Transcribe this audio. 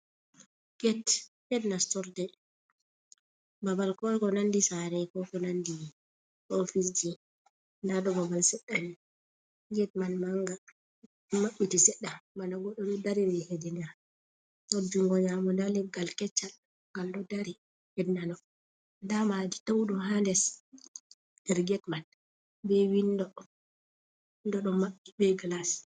Get, ged nastorde babal ko ko nandi sare, ko ko nandi ofise ji, nda ɗon babal seɗɗa ni, get man manga, ɗo maɓɓiti seɗɗa bana goɗɗo ɗo dariri hedi nder, her jungo nyamo nda leggal keccal gal ɗo dari her nano, nda madi tau ɗum ha les her get man, be windo, windo ɗo maɓɓi be glas.